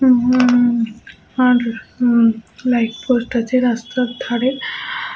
উম আর um light post আছে রাস্তার ধারে। .